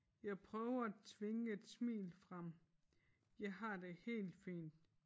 Jeg prøver at tvinge et smil frem jeg har det helt fint